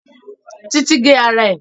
Títí gé ara ẹ̀